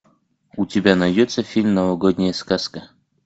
у тебя найдется фильм новогодняя сказка